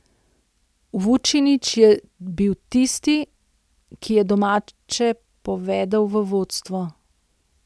Vučinić je bil tisti, ki je domače povedel v vodstvo.